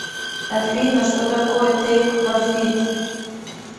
афина что такое тейк профит